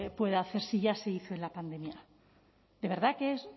puede hacer si ya se hizo en la pandemia de verdad que